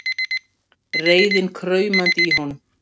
Reiðin kraumandi í honum.